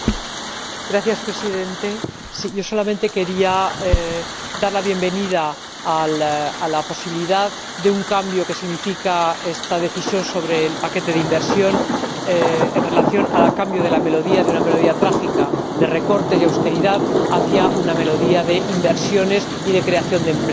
Señor Presidente, yo solamente quería dar la bienvenida a la posibilidad de cambio que significa esta Decisión sobre el paquete de inversión en relación con el cambio de melodía, de una melodía trágica de recortes y austeridad a una melodía de inversiones y de creación de empleo.